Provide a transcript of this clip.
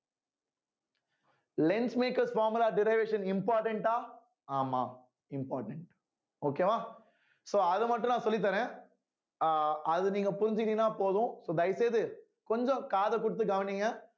lens makers formula derivation important ஆ ஆமாம் important okay வா so அத மட்டும் நான் சொல்லித் தர்றேன் அஹ் அத நீங்க புரிஞ்சுக்கிட்டீங்கன்னா போதும் so தயவு செய்து கொஞ்சம் காது கொடுத்து கவனிங்க